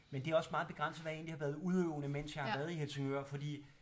Men det er også meget begrænset hvad jeg egentlig har været udøvende mens jeg har været i Helsingør fordi